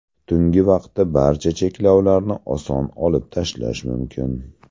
Tungi vaqtda barcha cheklovlarni oson olib tashlash mumkin.